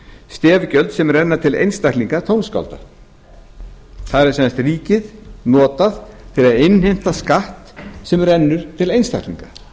stef gjöld sem renna til einstaklinga þar er sem sagt ríkið notað til að innheimta skatt sem rennur til einstaklinga